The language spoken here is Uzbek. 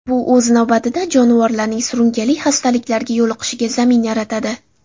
Bu, o‘z navbatida, jonivorlarning surunkali xastaliklarga yo‘liqishiga zamin yaratadi.